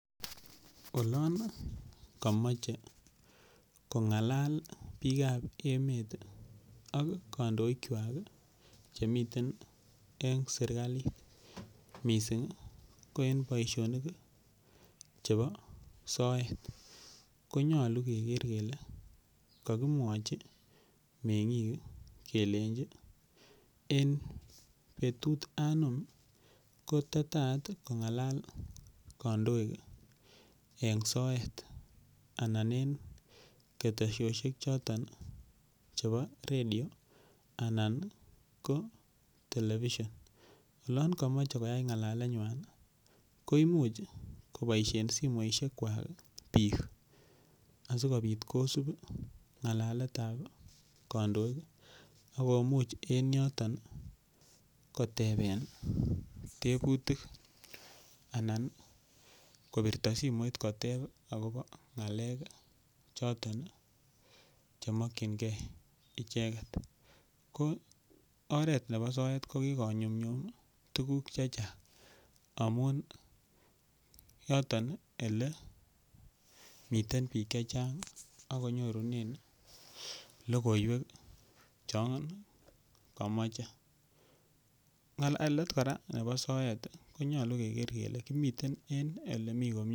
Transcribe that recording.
Olon kamoche kong'alal biikab emet ak kadoikchwai chemiten eng' serikalit mising' ko eng' boishonik chebo soet konyolu keker kele kakimwochi meng'ik kelenjin eng' betut anom koititaat kong'alal kandoik eng' soet anan en ketesioshek choton chebo redio anan ko television olon kamochei ng'alaletnywai ko imuuch koboishen simoishek kwak biik asikobit kosup ng'alaletab kandoik akomuch en yoton koteben teputik anan kopirto simoit kotep akobo ng'alek choton chemokchingei icheget ko oret nebo soet ko kokonyumyum tukuk chechang' amun yoton ele miten biik chechang' akonyorunen lokoiwek chon kamochei ng'alalet kora nebo soet konyolu keker kele komiten en ole mii komyee